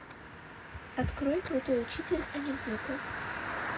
открой крутой учитель онидзука